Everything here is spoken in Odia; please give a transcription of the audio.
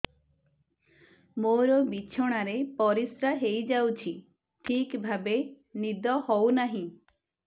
ମୋର ବିଛଣାରେ ପରିସ୍ରା ହେଇଯାଉଛି ଠିକ ଭାବେ ନିଦ ହଉ ନାହିଁ